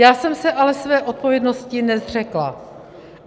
Já jsem se ale své odpovědnosti nezřekla.